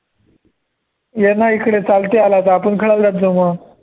येना इकडे चालते आला तर आपण खेळायला जात जाऊ मग